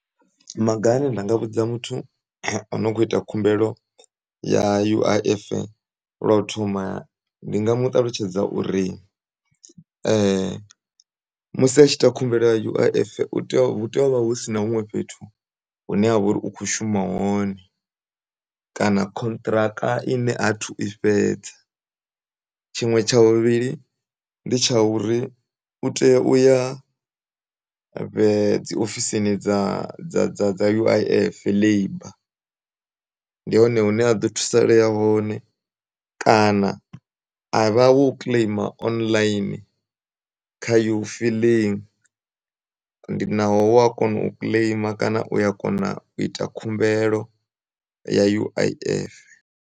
Maga ane ndinga vhudza muthu onokhoita khumbelo ya U_I_F lwou thoma ndinga muṱalutshedza uri musi atshi ita khumbelo ya U_I_F utea, hutea uvha husina huṅwe fhethu huneavha uri ukhoushuma hone, kana khontraka ine hathu ifhedza. Tshiṅwe tsha vhuvhili ndi tshauri utea uya dzi ofosini dza, dza U_I_F labor, ndihone hune aḓo thusalea hone kana, avha wo kileima online, kha uFilling ndinaho wakona ukileima kana uya kona u ita khumbelo ya U_I_F.